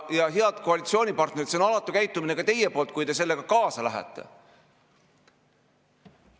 Ja, head koalitsioonipartnerid, see on alatu käitumine ka teie poolt, kui te sellega kaasa lähete.